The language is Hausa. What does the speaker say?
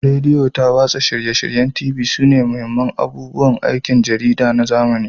Rediyo da watsa shirye-shiryen TV sune mahimman abubuwan aikin jarida na zamani